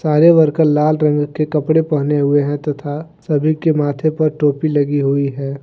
सारे वर्कर लाल रंग के कपड़े पहने हुए हैं तथा सभी के माथे पर टोपी लगी हुई है।